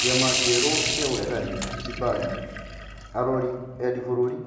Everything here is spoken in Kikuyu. Kĩama kĩeru kĩa ũregani Zimbari, Arori Endi-bũrũri